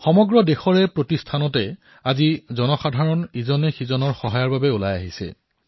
সমগ্ৰ দেশত চহৰেগলিয়ে ঠায়েঠায়ে আজি জনসাধাৰণ পৰস্পৰে পৰস্পৰৰ সহায়ৰ বাবে আগবাঢ়ি আহিছে